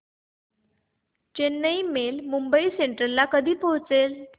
Chennai mail Mumbai Central ला कधी पोहचेल